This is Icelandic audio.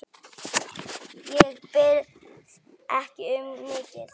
Ég bið ekki um mikið.